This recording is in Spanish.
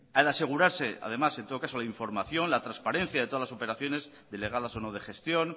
al asegurarse además en todo caso la información la transparencia de todas las operaciones delegadas o no de gestión